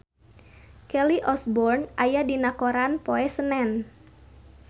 Kelly Osbourne aya dina koran poe Senen